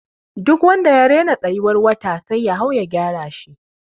Duk wanda ya rena tsayuwar wata sai ya hau ya gyara shi.